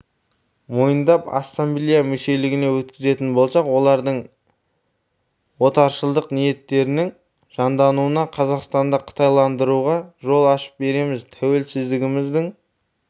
мойындап ассамблея мүшелігіне өткізетін болсақ олардың отаршылдық ниеттерінің жандануына қазақстанды қытайландыруға жол ашып береміз тәуелсіздігіміздің